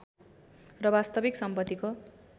र वास्तविक सम्पत्तिको